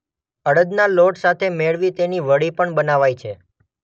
અડદના લોટ સાથે મેળવી તેની વડી પણ બનાવાય છે.